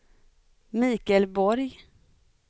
Mikael Borg